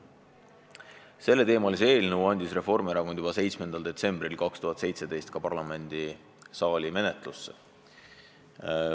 Selleteemalise eelnõu andis Reformierakond juba 7. detsembril 2017 parlamendisaali menetlusse.